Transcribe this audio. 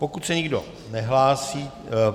Pokud se nikdo nehlásí...